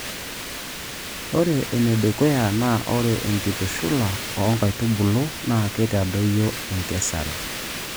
Ore enedukuya naa ore enkitushula oo nkaitubulu naa keitadoyio enkesera.